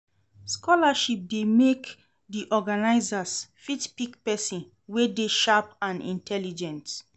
Scholarship de make di organisers fit pick persin wey de sharp and intelligent